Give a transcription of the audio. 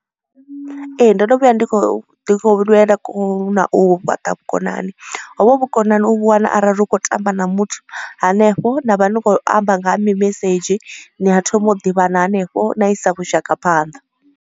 Ee ndo no vhuya ndi khou ḓi u fhaṱa vhukonani ho vho vhu vhukonani u vhu wana arali u khou tamba na muthu hanefho. Na vha ni khou amba nga ha mimesedzhi ni a thoma u ḓivhana hanefho na isa vhushaka phanḓa.